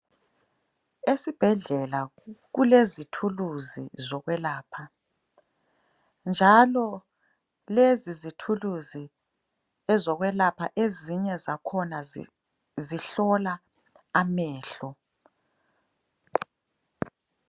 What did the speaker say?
Esebhedlela kulezithuluzi zokwelapha, njalo lezi zithuluzi zokwelapha ezinye zakhona zihlola amehlo.